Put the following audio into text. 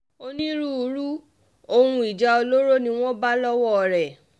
onírúurú ohun ìjà olóró ni wọ́n bá lọ́wọ́ rẹ̀